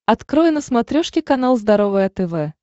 открой на смотрешке канал здоровое тв